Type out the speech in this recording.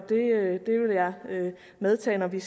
det vil jeg medtage når vi